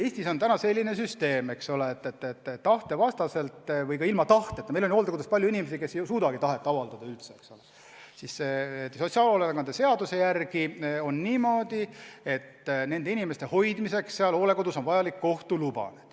Eestis on selline süsteem, et kas tahte vastaselt või ka ilma tahteta inimeste hoidmiseks hooldekodus – meil on ju palju inimesi, kes ei suuda üldse oma tahet avaldada, eks ole – on sotsiaalhoolekande seaduse järgi vajalik kohtu luba.